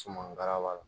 Sumanka la